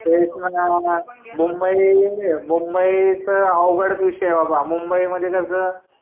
तेच ना मुंबई मुंबई च अवघडच विषय आहे बाबा मुंबई मध्ये जस